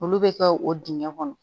Olu bɛ kɛ o dingɛn kɔnɔ